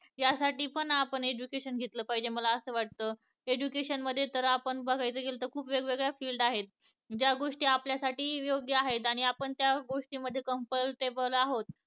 या साठी पण आपण education घेतलं पाहिजे. मला असं वाटत education मध्ये तर आपण बघायला गेलं तर खूप वेगवेगळ्या field आहेत. ज्या गोष्टी आपल्या साठी योग्य आहेत आणि आपण त्या गोष्टी मध्ये comfortable आहोत